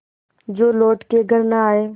जो लौट के घर न आये